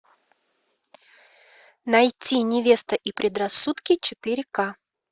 найти невеста и предрассудки четыре ка